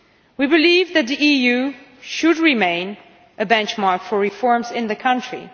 We believe that the EU should remain a benchmark for reforms in the country.